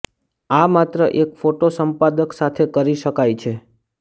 આ માત્ર એક ફોટો સંપાદક સાથે કરી શકાય છે